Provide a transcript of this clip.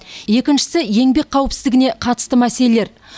екіншісі еңбек қауіпсіздігіне қатысты мәселелер